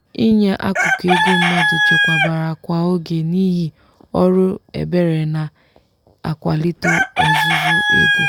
inye akụkụ ego mmadụ chekwabara kwa oge n'ihi ọrụ ebere na-akwalite ọzụzụ ego.